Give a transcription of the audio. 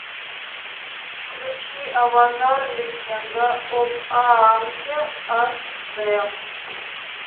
включи аватар легенда об аанге аш д